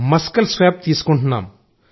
muscle swab తీసుకుంటున్నారు